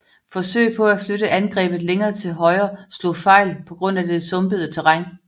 Forsøg på at flytte angrebet længere til højre slog fejl på grund af det sumpede terræn